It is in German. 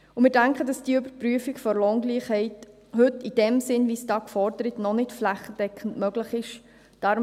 Wir denken, dass die Überprüfung der Lohngleichheit, in dem Sinn, wie es da gefordert wird, heute noch nicht flächendeckend möglich ist.